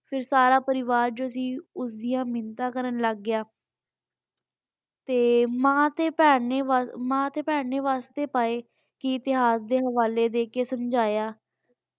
ਫਿਰ ਸਾਰਾ ਪਰਿਵਾਰ ਜੋ ਸੀ ਉਸਦੀਆਂ ਮਿੰਨਤਾਂ ਕਰਨ ਲੱਗ ਗਿਆ ਤੇ ਮਾਂ ਤੇ ਭੈਣ ਨੇ ਮਾਂ ਤੇ ਭੈਣ ਨੇ ਵਾਸਤੇ ਪਾਏ ਇਤਿਹਾਸ ਦੇ ਹਵਾਲੇ ਦੇ ਕ ਸਮਝਾਇਆ।